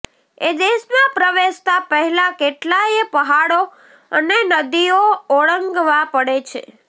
એ દેશમાં પ્રવેશતાં પહેલાં કેટલાંયે પહાડો અને નદીઓ ઓળંગવાં પડે છે